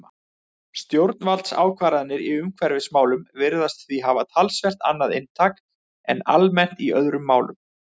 Stjórnvaldsákvarðanir í umhverfismálum virðast því hafa talsvert annað inntak en almennt er í öðrum málum.